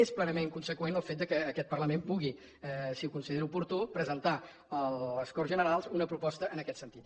és plenament conseqüent el fet que aquest parlament pugui si ho considera oportú presentar a les corts generals una proposta en aquest sentit